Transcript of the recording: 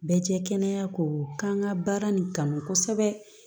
Bɛɛ jɛ kɛnɛya ko k'an ka baara nin kanu kosɛbɛ